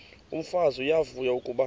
umfazi uyavuya kuba